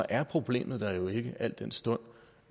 er problemet der jo ikke al den stund